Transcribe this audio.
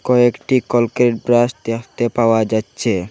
ও একটি Colgate brush দেখতে পাওয়া যাচ্ছে।